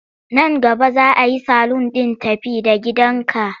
Nan gaba za a yi salun ɗin tafi-da-gidanka.